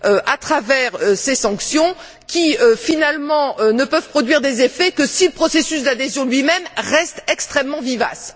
à travers ces sanctions qui, finalement, ne peuvent produire des effets que si le processus d'adhésion lui même reste extrêmement vivace.